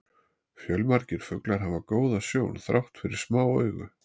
Fjölmargir fuglar hafa góða sjón þrátt fyrir smá augu.